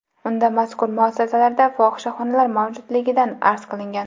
Unda mazkur muassasalarda fohishaxonalar mavjudligidan arz qilingan.